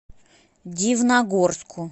дивногорску